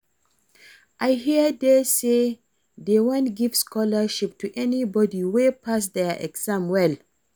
I hear say dey wan give scholarship to anybody wey pass their exam well